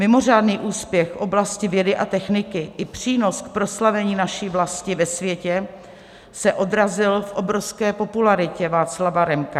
Mimořádný úspěch v oblasti vědy a techniky i přínos k proslavení naší vlasti ve světě se odrazil v obrovské popularitě Václava Remka.